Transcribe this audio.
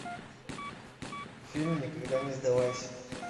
фильм никогда не сдавайся